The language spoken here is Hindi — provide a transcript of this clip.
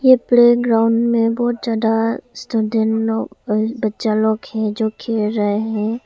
ए प्लेग्राउंड में बहुत ज्यादा स्टूडेंट लोग बच्चा लोग जो खेल रहे हैं।